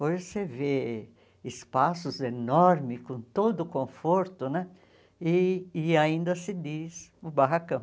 Hoje você vê espaços enormes, com todo o conforto né, e e ainda se diz o barracão.